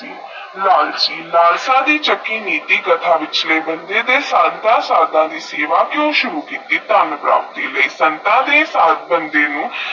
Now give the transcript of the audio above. ਕਿਹੋ ਜੇਹਾ ਸਬਾ ਸੀ ਲਾਲਚੀ ਲਾਲਸ਼ਾ ਦੀ ਚੱਕੀ ਵਿੱਚ ਕਥਾ ਵਿੱਚ ਸਾਰਦਾ ਦਾ ਸਰਦਾ ਦੀ ਸੇਵਾ ਕਿਊ ਸੁਰੂ ਕੀਤੀ ਧਨ ਪ੍ਰਾਪਤੀ ਲਈ